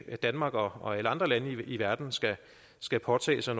at danmark og og alle andre lande i verden skal skal påtage sig